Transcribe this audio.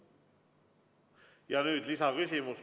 Ja nüüd lisaküsimus.